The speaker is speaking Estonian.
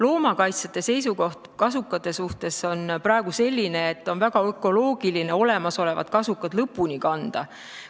Loomakaitsjate seisukoht kasukate suhtes on praegu selline, et on väga ökoloogiline olemasolevad kasukad lõpuni kanda.